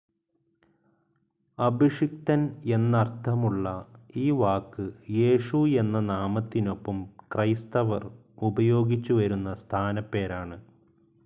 അഭിഷിക്തൻ എന്നർത്ഥമുള്ള ഈ വാക്ക് യേശു എന്ന നാമത്തിനൊപ്പം ക്രൈസ്തവർ ഉപയോഗിച്ചു വരുന്ന സ്ഥാനപ്പേരാണ്.